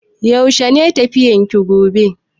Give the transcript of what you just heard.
Yaushe ne tafiyan ki gobe?